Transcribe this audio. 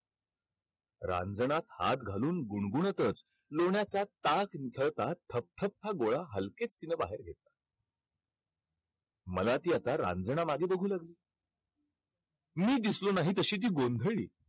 रांजणात हात घालून, गुणगुणतच लोण्याचा ताक थकथकता गोळा हलकेच तिनं बाहेर घेतला. मला ती आता रांजनामागे बघू लागली. मी दिसलो नाही तशी ती गोंधळली.